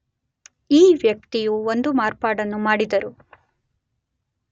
ಈ ವ್ಯಕ್ತಿಯು ಒಂದು ಮಾರ್ಪಾಡನ್ನು ಮಾಡಿದರು